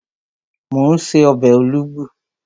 Mò ún ṣe ọbẹ̀ olugbu